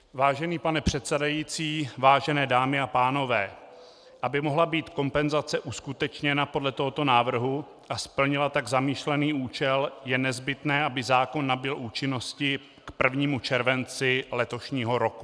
Vážený pane předsedající, vážené dámy a pánové, aby mohla být kompenzace uskutečněna podle tohoto návrhu a splnila tak zamýšlený účel, je nezbytné, aby zákon nabyl účinnosti k 1. červenci letošního roku.